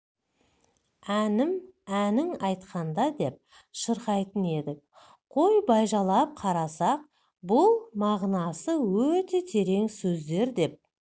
әнім әнін айтқанда деп шырқайтын едік қой бажайлап қарасақ бұл мағынасы өте терең сөздер деп